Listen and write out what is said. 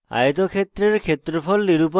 আয়তক্ষেত্রের ক্ষেত্রফল নিরূপণ করে